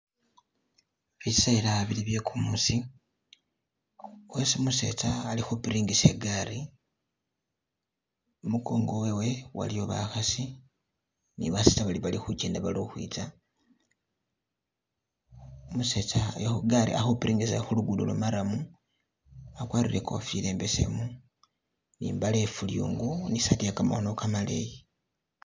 Biseela bili bye kumuusi khwesi umusetsa ari khupiringisa igaali , imukongo wewe iliyo bakhasi ne basetsa balikhukenda bali ukhwitsa umusetsa ali khugari ali khupiringisa ali khu lugudo lwo marrum akwarire ikofila imbesemu ne imbale iye fulyungu ni isaati iye kamakhono kamaleyi.